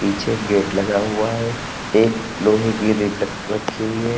पीछे गेट लगा हुआ है एक लोहे की रखी हुई है।